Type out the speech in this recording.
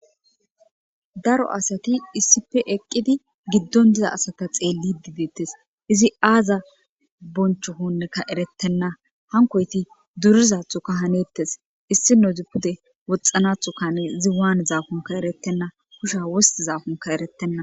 Daro asati issipe eqqidi giddon diza asata xeelli dideettes izi aaza boncho honneka erettenna hankoyti durizathoka hanettes issi nozi pude woxxanathoka hane izi waanu zaakunka erettenna kusha wosti zaakunka erettenna.